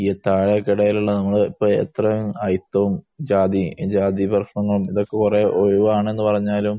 താഴെക്കിടയിലുള്ള ഇത്രയും അയിത്തവും ജാതി പ്രശ്നവും ഇതൊക്കെ ഒഴിവാണ് എന്ന് പറഞ്ഞാലും